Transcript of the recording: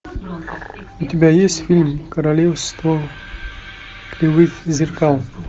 у тебя есть фильм королевство кривых зеркал